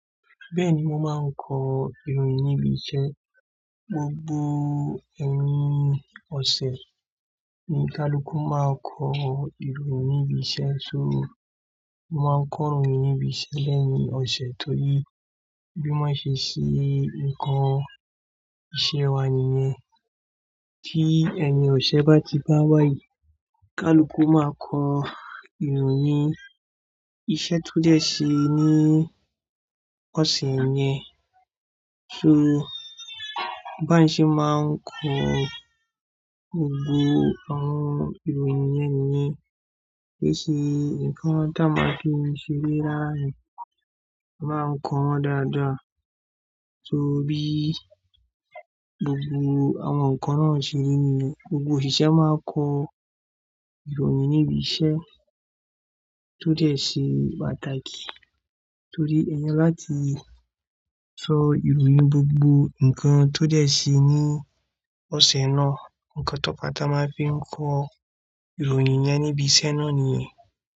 Bẹ́ẹ̀ni, mo máa ń kọ ìròyìn níbi iṣẹ́. Gbogbo eyin ọ̀sẹ̀ ni Kálúkú má a kọ ìròyìn níbi iṣẹ́. So mo máa ń koròyìn níbi iṣẹ́ lẹ́yìn ọ̀sẹ̀ torí bí wọ́n ṣe ṣe ńkan iṣẹ́ wa nìyẹn. Tí ẹ̀yin ọ̀sẹ̀ bá ti báwá yìí, Kálúkú máa kọ ìròyìn iṣẹ́ tó dẹ̀ ṣe ní ọ̀sẹ̀ yẹn. So báa ń ṣe máa ń kọ gbogbo àwọn ìròyìn yẹn nìyẹn. Kií ṣe ǹkan táa maa ń fi ń ṣeré rara ni, a máa ń kọ wọ́n dáadáa. So bí gbogbo àwọn ǹkan náà ṣe rí niyen, gbogbo òṣìṣẹ́ máa kọ ìròyìn níbi iṣẹ́ tó dẹ̀ ṣe pàtàkì. Torí eeyẹn láti sọ ìròyìn ohun gbogbo ǹkan tó dẹ̀ ṣe ní ọ̀sẹ̀ náà, ǹkan to fa táa máa fi n kọ ìròyìn yẹn níbi iṣẹ́ náà nyen.